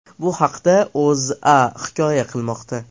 Bu haqda O‘zA hikoya qilmoqda .